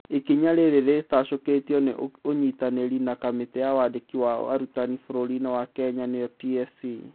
Ikinya rĩrĩ rĩtacũkĩtio nĩ ũnyitanĩri na kamĩtĩ ya wandĩki wa arutani bũrũri-inĩ Kenya nĩyo TSC